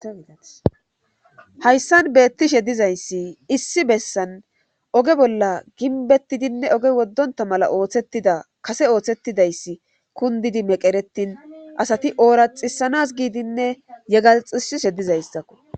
ahayssan beettishe dizayssi issi bessan oge bolla ginbettidinne oge woddonta mala ooththettida kase ooththettidayssi kundidi meqeretin asati ooraxisanas giidinne yegalxisi she dizayssako